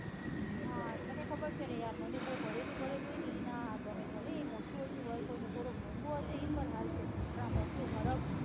હા તને ખબર છે ને યાર મને બઉ ભરેલું ભરેલું હોય ને ઈ ના ગમે ભલેને એ ઓછું હોય કોઈને થોડું મોંગુ હોય હશે એ પણ ચાલશે પણ આ ભરત